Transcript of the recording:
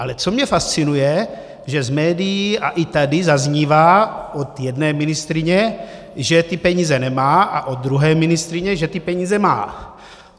Ale co mě fascinuje, že z médií a i tady zaznívá od jedné ministryně, že ty peníze nemá, a od druhé ministryně, že ty peníze má.